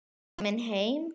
Komin heim?